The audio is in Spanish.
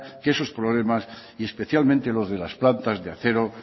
que esos problemas y especialmente los de las plantas de acero